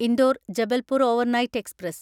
Indore Jabalpur overnight express